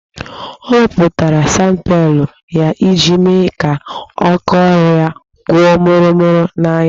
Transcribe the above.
Ọ wepụtara sandpepa ya iji mee kaa aka ọrụ ya kwụọ mụrụ mụru n'anya